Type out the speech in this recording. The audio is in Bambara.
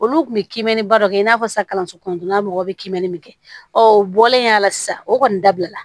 Olu kun bɛ kimɛni baro kɛ i n'a fɔ sisan kalanso kɔnɔntɔnnan mɔgɔw bɛ kimɛni min kɛ ɔ o bɔlen a la sisan o kɔni dabila